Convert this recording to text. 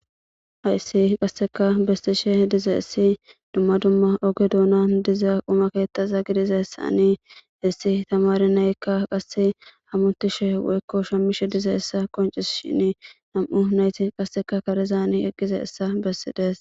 Hayssi qasseka bestishe diza essi dumma dumma oge duuna diza umaketaza gidiza essani hessi tamari nayekka qasse hammutishe woykko shammishe diza essa qoncis shin nam'u nayti qasseka karizani eqqiza essa bessidees.